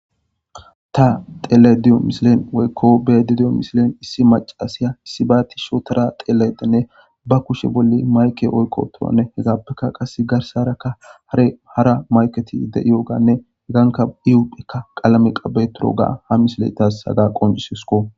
Ta telediyo misilen weykko bedidiyo misilen issi macasiya issi baati shotora teleedenne ba kushe bolli mayke oykko toane hegappeka qasse garsarakka hare hara mayketi de iyooganne heganka iupphekka qalame qabeturoga ha misiletas haga qoncisesko